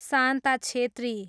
Shanta Chhetri